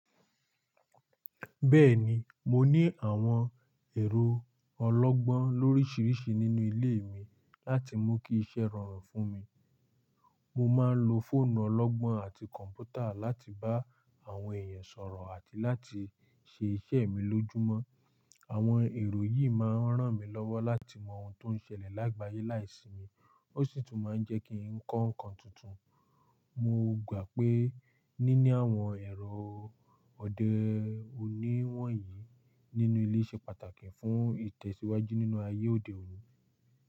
Bẹ́ẹ̀ni, mo ní àwọn ẹ̀rọ ọlọ́gbọ́n lóríṣiríṣi nínú ilé mi láti mú kí iṣẹ́ rọrùn fún mi. Mo máa ń lo fóònù ọlọ́gbọ́n àti kọ̀m̀pútà láti bá àwọn èèyàn sọ̀rọ̀ àti láti ṣe iṣẹ́ mi lójúmọ́. Àwọn ẹ̀rọ yìí máa ń ràn mí lọ́wọ́ láti mọ ohun tó ń ṣẹlẹ̀ lágbàyé láìsí mi, ó sì tún máa ń jẹ́ kí n kọ́ nǹkan tuntun. Mo gbà pé níní àwọn ẹ̀rọ òde òní wọ̀nyí nínú ilé ṣe pàtàkì fún ìtẹ̀síwájú nínú ayé òde òní.